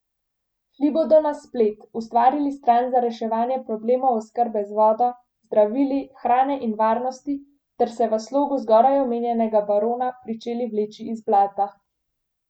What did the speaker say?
Šli bodo na splet, ustvarili stran za reševanje problemov oskrbe z vodo, zdravili, hrane in varnosti ter se v slogu zgoraj omenjenega barona pričeli vleči iz blata.